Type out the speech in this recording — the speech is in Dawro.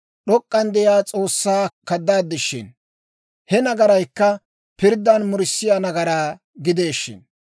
D'ok'k'an de'iyaa S'oossaa kaddaad shin. He nagaraykka pirddan murissiyaa nagaraa gidee shin.